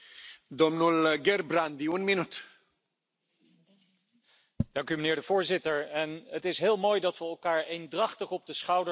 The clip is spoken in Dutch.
Voorzitter, het is heel mooi dat we elkaar eendrachtig op de schouder slaan om met elkaar te vieren dat wij het wegwerpplastic in Europa verbieden.